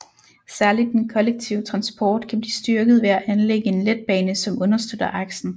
Særligt den kollektive transport kan blive styrket ved at anlægge en letbane som understøtter aksen